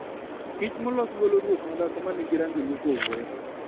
Kich molos golo ruoth madhako ma nigi rangi mopogore.